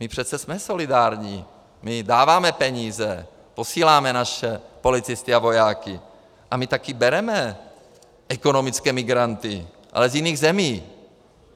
My přece jsme solidární, my dáváme peníze, posíláme naše policisty a vojáky a my taky bereme ekonomické migranty, ale z jiných zemí.